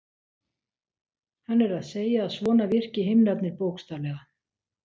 hann er að segja að svona virki himnarnir bókstaflega